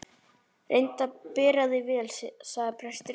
Reyndu að bera þig vel, sagði presturinn.